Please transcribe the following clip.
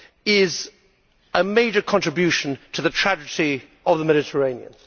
is a major contribution to the tragedy of the Mediterranean?